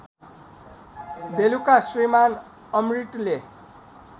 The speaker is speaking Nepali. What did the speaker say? बेलुका श्रीमान् अमृतले